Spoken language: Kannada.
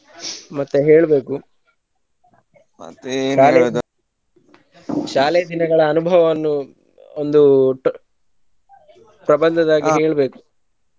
ಮತ್ತೆ ಹೇಳಬೇಕು ಶಾಲೆ ದಿನ ಶಾಲೆಯ ದಿನಗಳ ಅನುಭವವನ್ನು ಒಂದು ಪ್ರಬಂಧದ ಹಾಗೆ ಹೇಳಬೇಕು.